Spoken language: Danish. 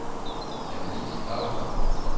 Annelise Klausen